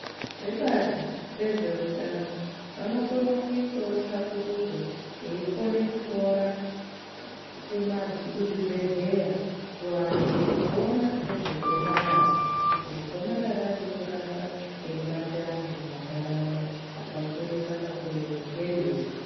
Vebazi vezveutano vanokona kuita tsvakurudzo veikona kutora kuzvibhedhlera kuantu kuona nezve gomarara kuti gomarara ririi kuramba reibata antu mumantaraunda akakurisa ngeriri